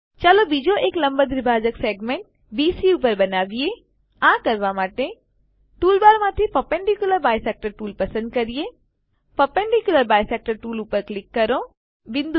ચાલો બીજો એક લંબ દ્વિભાજક સેગમેંટ બીસી પર બનાવીએ આ કરવા માટે ટૂલબારમાંથી પર્પેન્ડિક્યુલર બાયસેક્ટર ટૂલ પસંદ કરીએ પર્પેન્ડિક્યુલર બાયસેક્ટર ટૂલ ઉપર ક્લિક કરો